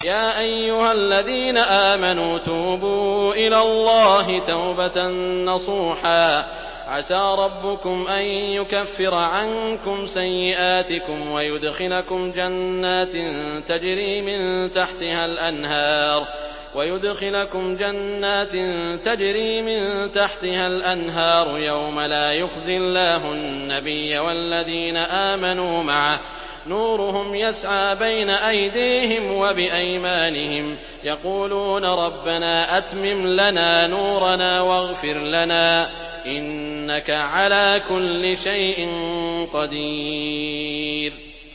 يَا أَيُّهَا الَّذِينَ آمَنُوا تُوبُوا إِلَى اللَّهِ تَوْبَةً نَّصُوحًا عَسَىٰ رَبُّكُمْ أَن يُكَفِّرَ عَنكُمْ سَيِّئَاتِكُمْ وَيُدْخِلَكُمْ جَنَّاتٍ تَجْرِي مِن تَحْتِهَا الْأَنْهَارُ يَوْمَ لَا يُخْزِي اللَّهُ النَّبِيَّ وَالَّذِينَ آمَنُوا مَعَهُ ۖ نُورُهُمْ يَسْعَىٰ بَيْنَ أَيْدِيهِمْ وَبِأَيْمَانِهِمْ يَقُولُونَ رَبَّنَا أَتْمِمْ لَنَا نُورَنَا وَاغْفِرْ لَنَا ۖ إِنَّكَ عَلَىٰ كُلِّ شَيْءٍ قَدِيرٌ